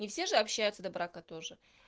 не все же общаются до брака тоже